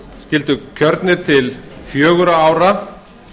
skyldu kjörnir til fjögurra ára